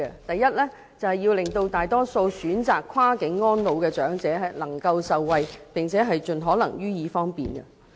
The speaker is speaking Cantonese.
第一，要令大多數選擇跨境安老的長者受惠，並盡可能予以方便。